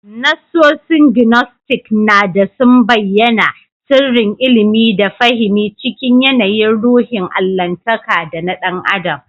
Nassosin Gnostic na dā sun bayyAna sirrin ilimi da fahimi cikin yAnayin ruhin allahntaka da na ɗan adam